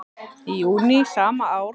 Í júní sama ár tók